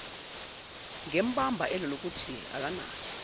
ngembaba elokuthi akanayo